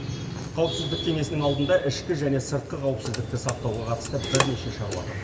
қауіпсіздік кеңесінің алдында ішкі және сыртқы қауіпсіздікті сақтауға қатысты бірнеше шаруа тұр